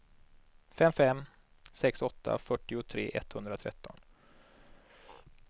fem fem sex åtta fyrtiotre etthundratretton